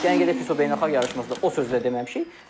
Gəlin gedək Fizo beynəlxalq yarışmasında o sözü də deməmişik.